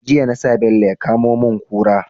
Jiya nasa bello ya kamo mun kura